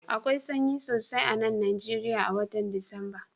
Akwai sanyi sosai a'nan Nijeriya a'wotan Disamba.